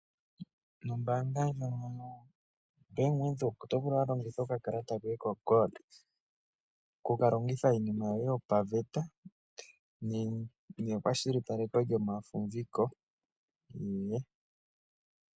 Nombaanga ndjono yoBank Windhoek oto vulu walongitha okakalata koye koshingoli miinima yoye yopaveta nekwashilipaleko lyomafumviko.